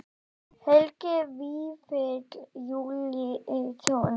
Helgi Vífill Júlíusson: Hversu seint ætlið þið að koma?